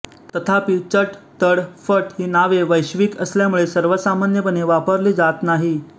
तथापि चट तड फट ही नावे वैश्विक किंवा सर्वसामान्यपणे वापरली जात नाही